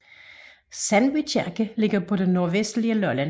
Sandby Kirke ligger på det nordvestlige Lolland